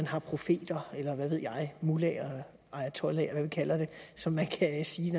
har profeter mullaher ayatollaher vi kalder det så man kan sige